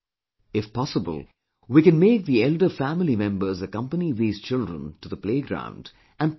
If possible, we can make the elder family members accompany these children to the playground and play with them